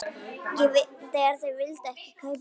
Þeir vildu ekki kaupa.